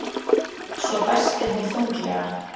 Svo dæsti hún þunglega.